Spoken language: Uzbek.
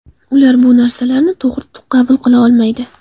Ular bu narsalarni to‘g‘ri qabul qila olmaydi.